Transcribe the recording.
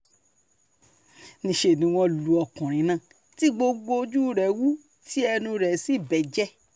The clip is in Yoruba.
níṣẹ́ ni wọ́n lu ọkùnrin náà tí gbogbo ojú rẹ̀ wú tí ẹnu rẹ̀ sì bẹ́jẹ́